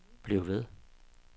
bliv ved